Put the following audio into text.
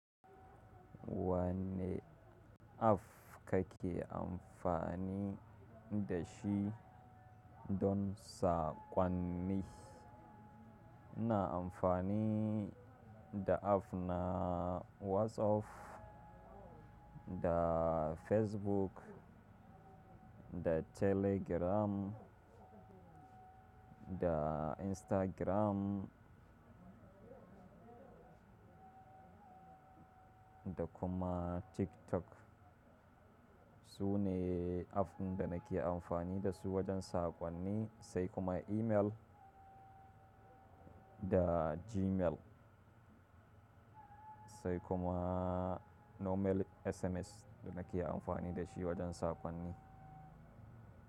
Wanne app kake amfani da shi don sakonni? Ina amfani da app na WhatsApp, da Facebook, da Telegram, da Instagram, da kuma TikTok. Su ne app da nake amfani da su wajen sakonni, sai kuma email da Gmail, sai kuma normal SMS da nake amfani da shi wajen sakonni.